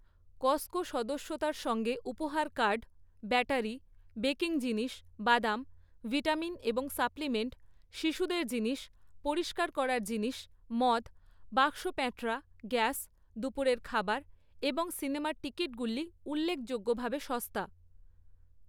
Costco সদস্যতার সঙ্গে উপহার কার্ড, ব্যাটারি, বেকিং জিনিস, বাদাম, ভিটামিন এবং সাপ্লিমেন্ট, শিশুদের জিনিস, পরিষ্কার করার জিনিস, মদ, বাক্সপ্যাঁটরা, গ্যাস, দুপুরের খাবার এবং সিনেমার টিকিটগুলি উল্লেখযোগ্যভাবে সস্তা।